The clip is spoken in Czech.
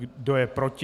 Kdo je proti?